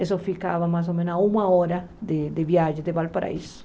Eu só ficava mais ou menos uma hora de de viagem de Valparaíso.